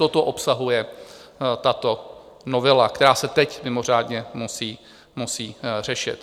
Toto obsahuje tato novela, která se teď mimořádně musí řešit.